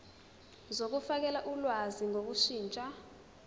zokufakela ulwazi ngokushintsha